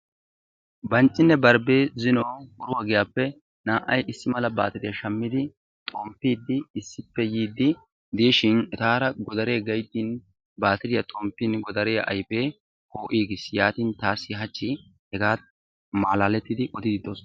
Banccinne barddii zino oruwaa giyaappe naa"ay issi mala baatiriyaa shaammidi xomppidi issippe yiidi diishin etaara godaree gayttin batiriyaa xomppin godariyaa ayfee po"iigiis. Yaatin taassi haachchi hegaa malaalettidi odiidi de'oosona.